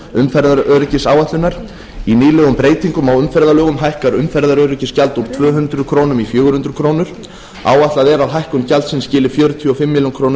umferðaröryggisáætlunar í nýlegum breytingum á umferðarlögum hækkar umferðaröryggisgjald úr tvö hundruð krónur í fjögur hundruð krónur áætlað er að hækkun gjaldsins skili fjörutíu og fimm ber